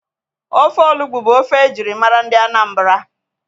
Ofe Olugbu bụ ofe ejirimara ndị Anambra